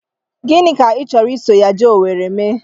Gịnị ka ị chọrọ iso ya jee Owere ime?